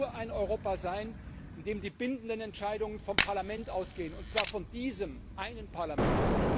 Das kann nur ein Europa sein, in dem die bindenden Entscheidungen vom Parlament ausgehen, und zwar von diesem einen Parlament.